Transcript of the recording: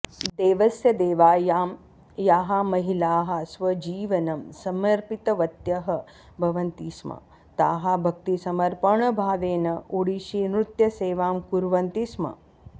देवस्य सेवायां याः महिलाः स्वजीवनं समर्पितवत्यः भवन्ति स्म ताः भक्तिसमर्पणभावेन ओडिशीनृत्यसेवां कुर्वन्ति स्म